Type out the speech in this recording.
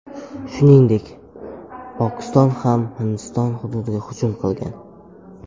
Shuningdek, Pokiston ham Hindiston hududiga hujum qilgan.